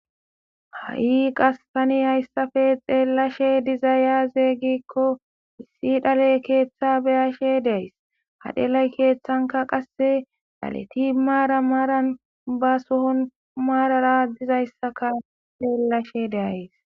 ha'i qas tani hayssafe xeellashe diza aze giikko issi dhaley keeththa beyashe de'ays ha dhelay keeththanka qasse dhaleti maara maaran ba sohon maarara dizayssaka xeellashe de'ayes